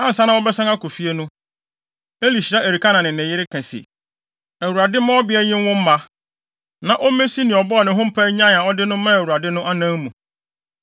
Ansa na wɔbɛsan akɔ fie no, Eli hyira Elkana ne ne yere ka se, “ Awurade mma ɔbea yi nwo mma, na ommesi nea ɔbɔɔ ne ho mpae nyae a ɔde no maa Awurade no anan mu.”